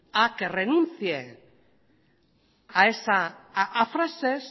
a que renuncie a esas frases